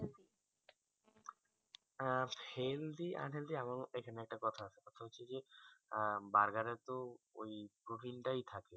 আহ healthy unhealthy আমার মোতে এখানে একটা কথা আছে কথাটা হচ্ছে জি আহ charger এরতো ওই প্রোটিন টা থাকে